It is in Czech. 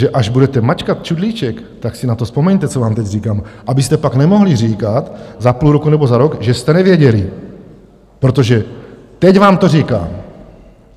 Takže až budete mačkat čudlíček, tak si na to vzpomeňte, co vám teď říkám, abyste pak nemohli říkat za půl roku nebo za rok, že jste nevěděli, protože teď vám to říkám.